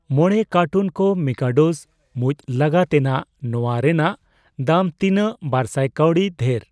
ᱢᱚᱲᱮ ᱠᱟᱨᱴᱩᱱ ᱠᱚ ᱢᱤᱠᱟᱰᱳ'ᱥ ᱢᱩᱪ ᱞᱟᱜᱟ ᱛᱮᱱᱟᱜ ᱱᱚᱣᱟ ᱨᱮᱱᱟᱜ ᱫᱟᱢ ᱛᱤᱱᱟᱜ ᱵᱟᱨᱥᱟᱭ ᱠᱟᱣᱰᱤ ᱫᱷᱮᱨ?